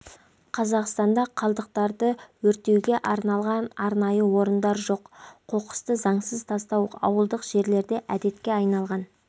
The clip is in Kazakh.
қазақстанда қалдықтарды өртеуге арналған арнайы орындар жоқ қоқысты заңсыз тастау ауылдық жерлерде детке айналған